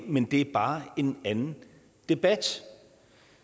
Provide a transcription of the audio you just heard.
men det er bare en anden debat